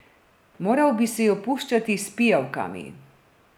Moral bi si jo puščati s pijavkami.